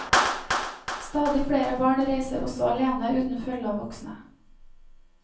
Stadig flere barn reiser også alene uten følge av voksne.